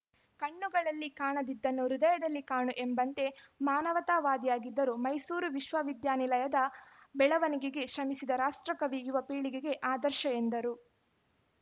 ಕಣ್ಣುಗಳಲ್ಲಿ ಕಾಣದಿದ್ದನ್ನು ಹೃದಯದಲ್ಲಿ ಕಾಣು ಎಂಬಂತೆ ಮಾನವತಾವಾದಿಯಾಗಿದ್ದರು ಮೈಸೂರು ವಿಶ್ವವಿದ್ಯಾನಿಲಯದ ಬೆಳವಣಿಗೆಗೆ ಶ್ರಮಿಸಿದ ರಾಷ್ಟ್ರಕವಿ ಯುವ ಪೀಳಿಗೆಗೆ ಆದರ್ಶ ಎಂದರು